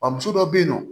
Wa muso dɔ be yen nɔ